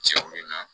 Cɛw na